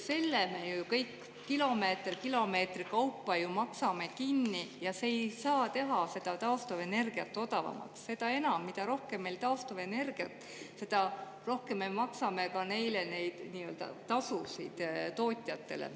Selle me ju kõik kilomeeter kilomeetri kaupa maksame kinni ja see ei saa teha seda taastuvenergiat odavamaks, seda enam, et mida rohkem on meil taastuvenergiat, seda rohkem me maksame neile neid tasusid, tootjatele.